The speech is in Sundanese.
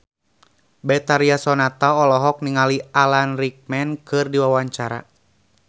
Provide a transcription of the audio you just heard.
Betharia Sonata olohok ningali Alan Rickman keur diwawancara